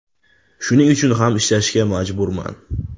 Shuning uchun ham ishlashga majburman.